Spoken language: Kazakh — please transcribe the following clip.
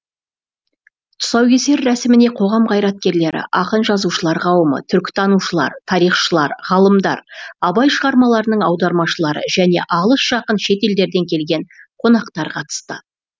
тұсаукесер рәсіміне қоғам қайраткерлері ақын жазушылар қауымы түркітанушылар тарихшылар ғалымдар абай шығармаларының аудармашылары және алыс жақын шет елдерден келген қонақтар қатысты